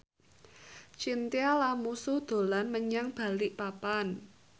Chintya Lamusu dolan menyang Balikpapan